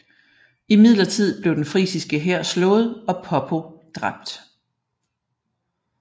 Imidlertid blev den frisiske hær slået og Poppo dræbt